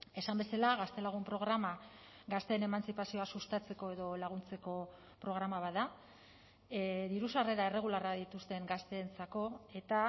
esan bezala gaztelagun programa gazteen emantzipazioa sustatzeko edo laguntzeko programa bat da diru sarrera erregularra dituzten gazteentzako eta